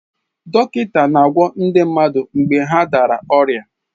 Dọkịta na-agwọ ndi mmadụ mgbe ha dara ọrịa.